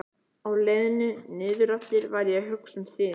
Á leiðinni niðureftir var ég að hugsa um þig.